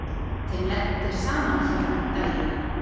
Þeim lenti saman hérna um daginn.